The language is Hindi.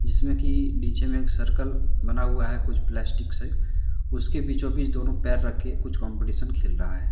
जिसमें की नीचे में एक सर्कल बना हुआ है कुछ प्लास्टिक से उसके बीचो बीच दोनों पैर रख के कुछ कंपटीशन खेल रहा है।